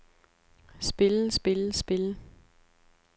spille spille spille